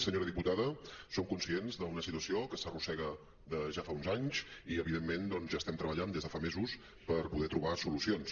senyora diputada som conscients d’una situació que s’arrossega de ja fa uns anys i evidentment doncs hi estem treballant des de fa mesos per poder trobar solucions